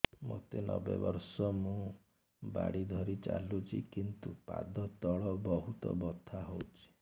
ମୋତେ ନବେ ବର୍ଷ ମୁ ବାଡ଼ି ଧରି ଚାଲୁଚି କିନ୍ତୁ ପାଦ ତଳ ବହୁତ ବଥା ହଉଛି